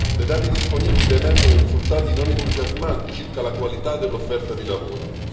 Dai dati disponibili emergono risultati non entusiasmanti circa la qualità dell'offerta di lavoro.